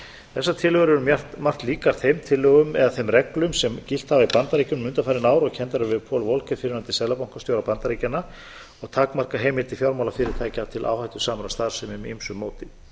þessar tillögur eru um margt líkar þeim tillögum eða reglum sem gilt hafa í bandaríkjunum undanfarin ár og kenndar eru við paul volcker á seðlabankastjóra bandaríkjanna og takmarka heimildir fjármálafyrirtækja til áhættusamrar starfsemi með ýmsu móti